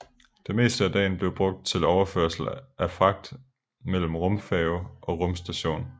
Det meste af dagen blev brugt til overførsel af fragt mellem rumfærge og rumstation